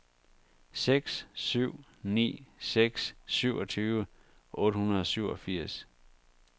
seks syv ni seks syvogtyve otte hundrede og syvogfirs